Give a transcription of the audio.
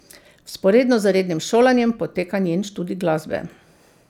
Vzporedno z rednim šolanjem poteka njen študij glasbe.